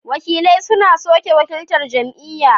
wakilai suna suke wakiltar jam'iyya.